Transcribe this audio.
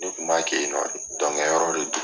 Ne kun b'a kɛ yen nɔ de dɔnkɛ yɔrɔ de do.